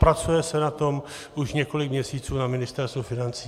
Pracuje se na tom už několik měsíců na Ministerstvu financí.